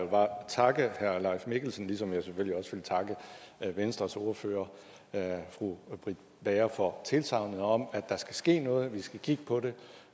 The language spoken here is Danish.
bare takke herre leif mikkelsen ligesom jeg selvfølgelig også vil takke venstres ordfører fru britt bager for tilsagnet om at der skal ske noget at vi skal kigge på det